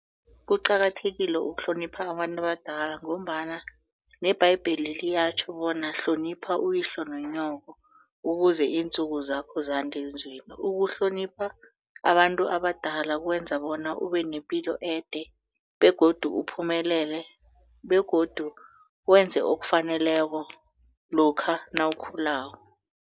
Kuqakathekile ukuhlonipha abantu abadala ngombana nebhayibheli liyatjho bona hlonipha uyihloko nonyoko ukuze intsuku zakho zande ezweni. Ukuhlonipha abantu abadala kwenza bona ube nepilo ede begodu uphumelele begodu wenze okufaneleko lokha nawukhulako.